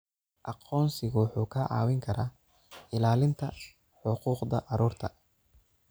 Aqoonsigu wuxuu kaa caawin karaa ilaalinta xuquuqda carruurta.